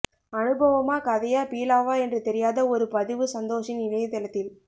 அனுபவமா கதையா பீலாவா என்று தெரியாத ஒரு பதிவு சந்தோஷின் இணையதளத்தில்